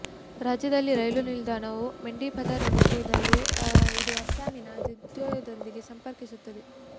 ರಾಜ್ಯದಲ್ಲಿ ರೈಲು ನಿಲ್ದಾಣವು ಮೆಂಡಿಪಥರ್ ಎಂಬಲ್ಲಿದ್ದು ಇದು ಅಸ್ಸಾಮಿನ ದುಧ್ನೋಯ್ ದೊಂದಿಗೆ ಸಂಪರ್ಕಿಸುತ್ತದೆ